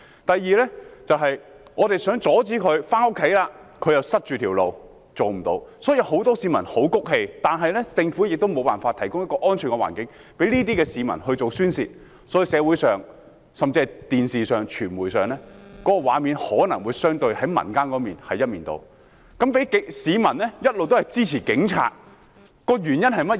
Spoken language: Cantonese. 第二，我們想阻止他們，要回家了，他們又堵塞道路，令我們做不到，所以很多市民都很氣憤，但政府卻無法提供一個安全的環境讓這些市民宣泄，故此社會上，甚至電視上、傳媒上的畫面可能相對地顯示，民意是一面倒，市民一直支持警察，原因為何？